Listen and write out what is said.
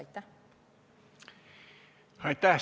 Aitäh!